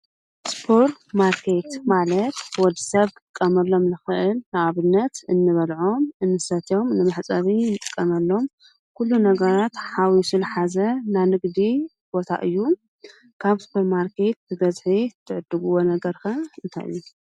ስፖር ማርኬት ማለት ወዲ ሰብ ክጥቀመሎም ዝክእል ከም ንኣብነት እንበልዖም እንሰትዮም መሕጠቢ እንጥቀመሎም ኩሉ ነገራት ሓዋዊሱ ዝሓዘ ናይ ንግዲ ቦታ እዩ። ካብ ስፖርማርኬት ብበዝሒ እትዕድግዎ ነገር እንታይ እዩ?